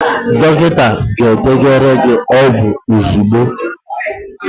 Dọkịta ga-edenyere gị ọgwụ ozugbo